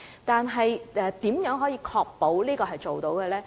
但是，如何確保市建局做到這點呢？